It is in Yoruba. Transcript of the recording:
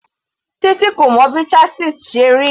Titi kò mọ bí chasis ṣe rí.